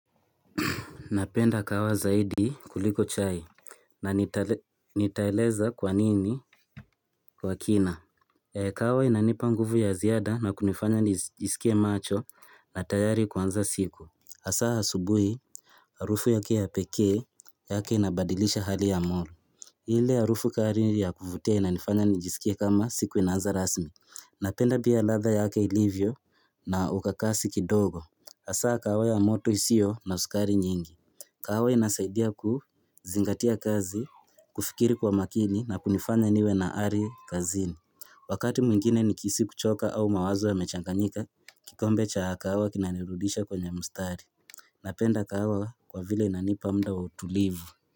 Napenda kahawa zaidi kuliko chai na Nitaeleza kwanini kwa kina. Kahawa inanipa nguvu ya ziada na kunifanya nijisikie macho na tayari kuanza siku hasa asubuhi. Harufu yake ya pekee yake inabadilisha hali ya moyo. Ile harufu kali ya kuvutia inanifanya nijisikie kama siku inaanza rasmi. Napenda pia ladha yake ilivyo na ukakasi kidogo. Hasa kahawa ya moto isiyo na uskari nyingi. Kahawa inasaidia kuzingatia kazi, kufikiri kwa makini na kunifanya niwe naari kazini. Wakati mwingine nikihisi kuchoka au mawazo ya mechanganyika, kikombe cha kahawa kinanirudisha kwenye mustari. Napenda kahawa kwa vile inanipa muda wa utulivu.